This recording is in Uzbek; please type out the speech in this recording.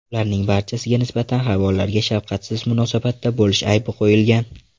Ularning barchasiga nisbatan hayvonlarga shafqatsiz munosabatda bo‘lish aybi qo‘yilgan.